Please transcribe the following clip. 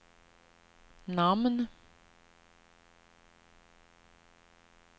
namn